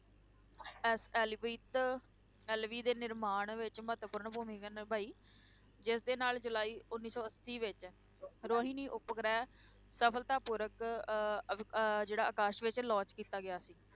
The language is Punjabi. SLV ਤੇ LV ਦੇ ਨਿਰਮਾਣ ਵਿੱਚ ਮਹੱਤਵਪੂਰਨ ਭੂਮਿਕਾ ਨਿਭਾਈ, ਜਿਸਦੇ ਨਾਲ ਜੁਲਾਈ ਉੱਨੀ ਸੌ ਅੱਸੀ ਵਿੱਚ ਰੋਹਿਣੀ ਉਪਗ੍ਰਹਿ ਸਫਲਤਾਪੂਰਵਕ ਅਹ ਅਹ ਜਿਹੜਾ ਆਕਾਸ਼ ਵਿੱਚ launch ਕੀਤਾ ਗਿਆ ਸੀ।